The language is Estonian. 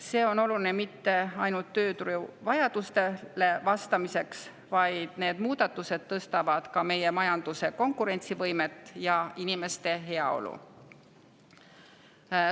See ei ole oluline mitte ainult tööturu vajadustele vastamiseks, vaid need muudatused parandavad ka meie majanduse konkurentsivõimet ja inimeste heaolu.